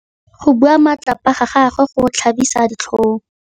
Go bua matlhapa ga gagwe go tlhabisa ditlhong.